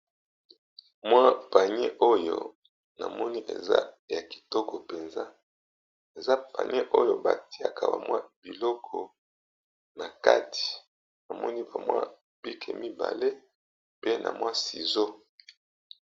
Mwa panier oyo na moni eza ya kitoko penza, eza panier oyo ba tiaka ba mwa biloko na kati na moni ka mwa pike mibale pe na mwa sizeau .